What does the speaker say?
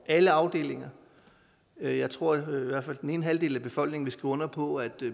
alle afdelinger jeg jeg tror i hvert fald at den ene halvdel af befolkningen vil skrive under på at